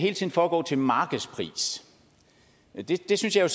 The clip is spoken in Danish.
foregå til markedspris det synes jeg